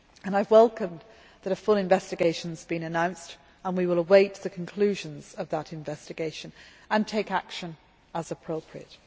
I welcome the fact that a full investigation has been announced, and we will await the conclusions of that investigation and take action as appropriate.